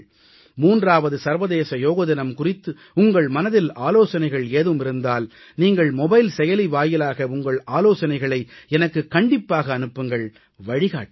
3வது சர்வதேச யோக தினம் குறித்து உங்கள் மனதில் ஆலோசனைகள் ஏதும் இருந்தால் நீங்கள் மொபைல் செயலி வாயிலாக உங்கள் ஆலோசனைகளை எனக்குக் கண்டிப்பாக அனுப்புங்கள் வழிகாட்டுங்கள்